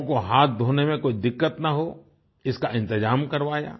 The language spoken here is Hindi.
लोगों को हाथ धोने में कोई दिक्कत न हो इसका इंतजाम करवाया